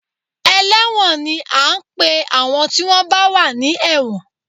Ẹlẹ́wọ̀n ni à ń pe àwọn tí wọ́n bá wà ní ẹ̀wọ̀n